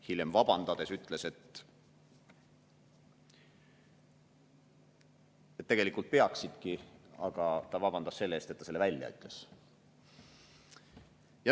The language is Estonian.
Hiljem vabandades ütles, et tegelikult peaksidki, aga ta vabandas selle eest, et ta selle välja ütles.